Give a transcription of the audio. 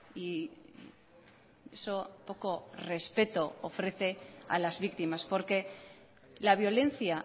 y eso poco respeto ofrece a las víctimas porque la violencia